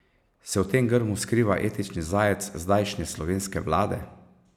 Se v tem grmu skriva etični zajec zdajšnje slovenske vlade?